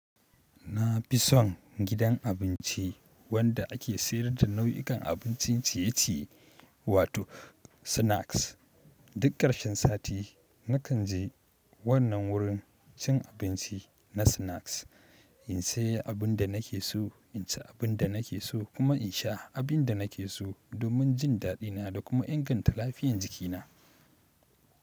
Na fi son gidan abinci wanda ake sayar da nau'ikan abincin ciye-ciye wato snacks. Duk karshen sati nakan je wannan wurin cin abinci na snacks in sayi abin da nake so, in ci abin da nake so kuma in sha abin da nake so domin jin daɗina da kuma inganta lafiyan jikina.